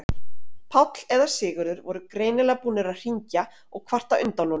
Páll og eða Sigurður voru greinilega búnir að hringja og kvarta undan honum.